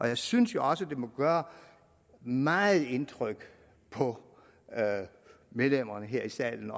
jeg synes jo også det må gøre meget indtryk på medlemmerne her i salen